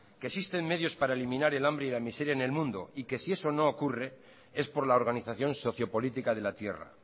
que existen medios para eliminar el hambre y la miseria en el mundo y que si eso no ocurre es por la organización socio política de la tierra